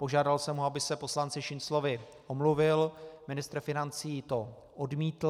Požádal jsem ho, aby se poslanci Šinclovi omluvil, ministr financí to odmítl.